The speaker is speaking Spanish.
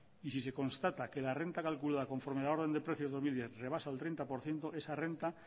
y si se constata que la renta calculada conforme a la orden de precios dos mil diez rebasa el treinta por ciento esa renta